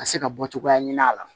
Ka se ka bɔ cogoyaya ɲini a la